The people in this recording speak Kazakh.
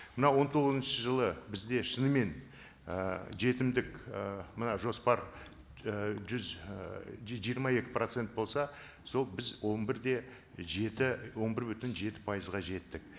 мынау он тоғызыншы жылы бізде шынымен і жетімдік і мына жоспар і жүз і жиырма екі процент болса сол біз он бір де жеті он бір бүтін жеті пайызға жеттік